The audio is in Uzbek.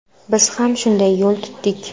Biz ham shunday yo‘l tutdik.